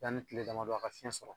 Yanni tile damadɔ a ka fiɲɛ sɔrɔ